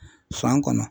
Fan kɔnɔ